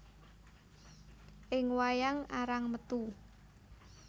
Ing wayang arang metu